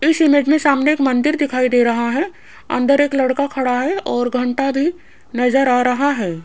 इस इमेज में सामने एक मंदिर दिखाई दे रहा है अंदर एक लड़का खड़ा है और घंटा भी नजर आ रहा है।